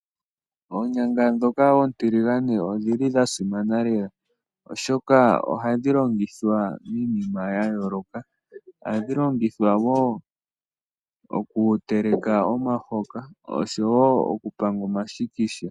Oonyanga ndhika oontiligane odhili dha simana lela, oshoka ohadhi longithwa iinima ya yooloka. Ohadhi longithwa wo oku teleka omahoka oshowo oku panga omashikisha.